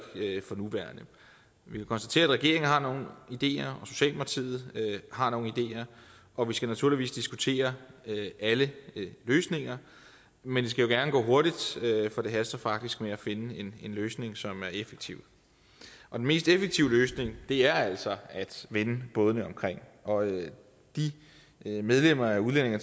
for nuværende vi kan konstatere at regeringen har nogle ideer og har nogle ideer og vi skal naturligvis diskutere alle løsninger men det skal jo gerne gå hurtigt for det haster faktisk med at finde en løsning som er effektiv den mest effektive løsning er altså at vende bådene omkring og de medlemmer af udlændinge